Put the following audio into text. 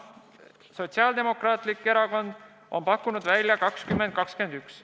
Sotsiaaldemokraatlik Erakond on pakkunud välja aasta 2021.